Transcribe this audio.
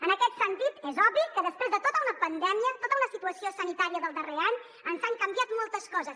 en aquest sentit és obvi que després de tota una pandèmia tota una situació sanitària del darrer any ens han canviat moltes coses